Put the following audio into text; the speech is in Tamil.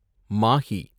மாஹி